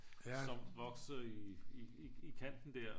Som vokser i i kanten der